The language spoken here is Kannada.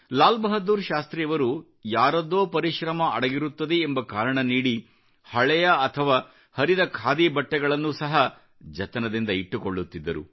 ಲಾಲ್ ಬಹಾದ್ದೂರ್ ಶಾಸ್ತ್ರಿಯವರು ಯಾರದ್ದೋ ಪರಿಶ್ರಮ ಅಡಗಿಕೊಂಡಿರುತ್ತದೆ ಎಂಬ ಕಾರಣ ನೀಡಿ ಹಳೆಯ ಅಥವಾ ಹರಿದ ಖಾದಿ ಬಟ್ಟೆಗಳನ್ನು ಸಹ ಜತನದಿಂದ ಇಟ್ಟುಕೊಳ್ಳುತ್ತಿದ್ದರು